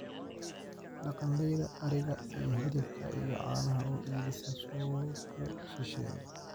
Dhaqanleyda ariga ayaa hilibka iyo caanaha u iibisa suuqyo shisheeye.